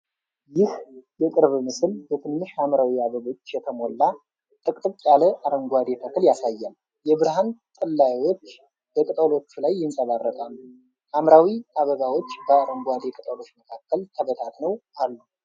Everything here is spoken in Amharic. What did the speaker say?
ይህ የቅርብ ምስል በትንሽ ሐምራዊ አበቦች የተሞላ ጥቅጥቅ ያለ አረንጓዴ ተክል ያሳያል። የብርሃን ጥላዎች በቅጠሎቹ ላይ ይንጸባረቃሉ። ሐምራዊው አበባዎች በአረንጓዴ ቅጠሎች መካከል ተበታትነው አሉ።